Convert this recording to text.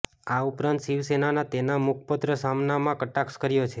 આ ઉપરાંત શિવસેનાના તેના મુખપત્ર સામનામા કટાક્ષ કર્યો છે